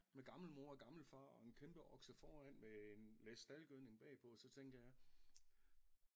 Med gammel mor og gammel far og en kæmpe okse foran med en læs staldgødning bagpå så tænker jeg